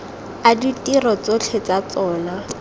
a ditiro tsotlhe tsa tsona